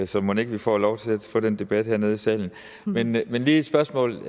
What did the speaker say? så mon ikke vi får lov til at få den debat hernede i salen men jeg har lige et spørgsmål